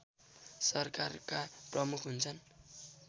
सरकारका प्रमुख हुन्छन्